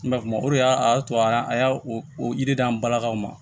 Mɛ kuma o de y'a to an y'a o yiriden an balakaw ma